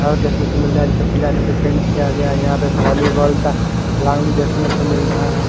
धार देखने को मिल रहा है निचे पिलर में पेंट किया गया है यहा पे वॉलीबॉल का देखने को मिल रहा है ।